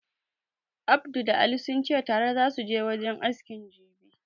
Abdu da Ali sunce tare zasu je wajen askin jibi